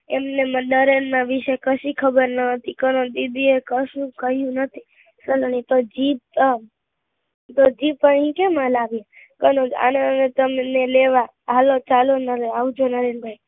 એમને નરેન નાં વિશે કશી ખબર ના હતી કનોજ દીદી એ કશું કહ્યું નથી સરવણી તો જીપ આવ તો જીપ આ કેમ અહી આલાવી કનોજ અનાવ્યા તમને લેવા હાલો ચાલો આવજો નરેન ભાઈ